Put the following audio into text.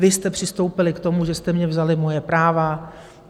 Vy jste přistoupili k tomu, že jste mně vzali moje práva...